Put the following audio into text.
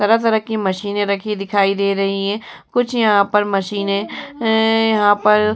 तरह-तरह की मशीनें रखी दिखाई दे रही हैं। कुछ यहाँ पर मशीनें एं यहाँ पर --